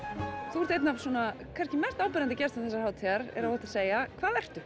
þú ert einn af mest áberandi gestum þessarar hátíðar er óhætt að segja hvað ertu